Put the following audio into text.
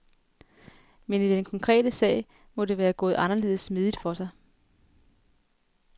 Men i den konkrete sag må det være gået anderledes smidigt for sig.